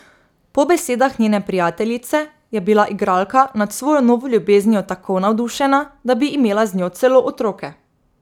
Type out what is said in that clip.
Po besedah njene prijateljice je bila igralka nad svojo novo ljubeznijo tako navdušena, da bi imela z njo celo otroke.